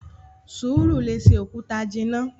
Sùúrù lè ṣe òkúta jìnnà!